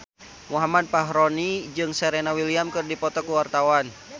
Muhammad Fachroni jeung Serena Williams keur dipoto ku wartawan